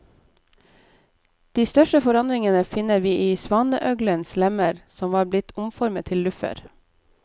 De største forandringene finner vi i svaneøglenes lemmer, som var blitt omformet til luffer.